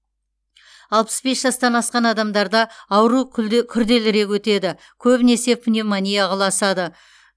алпыс бес жастан асқан адамдарда ауру күрделірек өтеді көбінесе пневмонияға ұласады